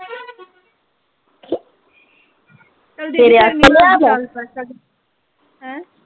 ਹੈਂ ਤੇਰੇ ਵਾਸਤੇ ਲਿਆ ਮੈਂ।